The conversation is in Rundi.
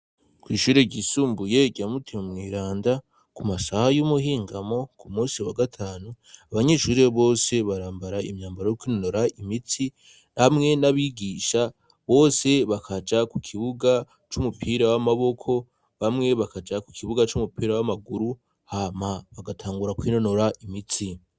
Kw'ishure ryisumbuye rya mutima mweranda, ku masaha y'umuhingamo ku musi wa gatanu, abanyeshuri bose barambara imyambaro kwinonora imitsi bamwe n'abigisha bose bakaja ku kibuga c'umupira w'amaboko bamwe bakaja ku kibuga c'umupira w'amaguru hama bagatangura kwinonora imitsi.